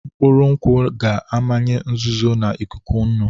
Mkpụrụ nkwụ ga-amanye nzuzo na ikuku nnu.